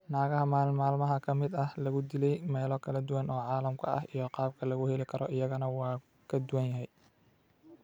Naagaha maalin maalmaha ka mid ah lagu dilay meelo kala duwan oo caalamka ah iyo qaabka lagu heli karo iyagana waa ka duwan yahay.